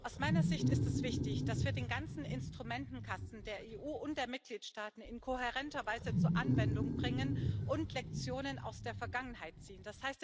Aus meiner Sicht ist es wichtig, dass wir den ganzen Instrumentenkasten der EU und der Mitgliedstaaten in kohärenter Weise zur Anwendung bringen und Lektionen aus der Vergangenheit ziehen.